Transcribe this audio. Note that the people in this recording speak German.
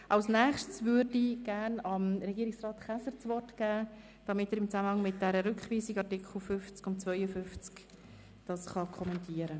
Als Nächstes würde ich gern dem Regierungsrat Käser das Wort geben, um die Rückweisung der Artikel 50 und 52 zu kommentieren.